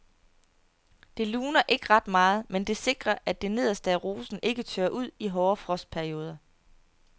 Det luner ikke ret meget, men det sikrer at det nederste af rosen ikke tørrer ud i hårde frostperioder.